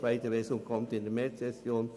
Die zweite Lesung erfolgt in der Märzsession.